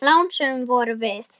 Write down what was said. Lánsöm vorum við.